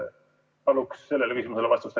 Palun sellele küsimusele vastust.